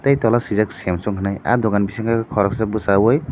tei tola sijak samsung hinui ah dogan bisingo koroksa bosai oe.